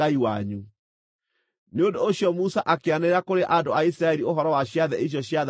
Nĩ ũndũ ũcio Musa akĩanĩrĩra kũrĩ andũ a Isiraeli ũhoro wa ciathĩ icio ciathanĩtwo cia Jehova.